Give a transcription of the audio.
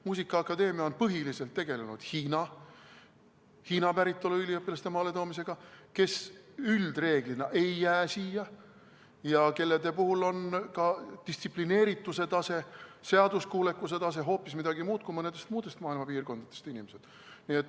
Muusikaakadeemia on põhiliselt tegelenud Hiina päritolu üliõpilaste maaletoomisega, kes üldreeglina ei jää siia ja kelle puhul on ka distsiplineerituse tase, seaduskuulekuse tase hoopis midagi muud kui mõnest muust maailma piirkonnast inimeste puhul.